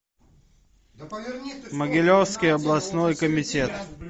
могилевский областной комитет